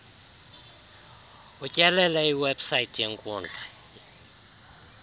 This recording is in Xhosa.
utyelele iwebsite yeenkundla